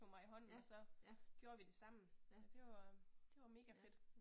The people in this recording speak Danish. Ja, ja. Ja. Ja